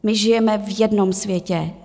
My žijeme v jednom světě.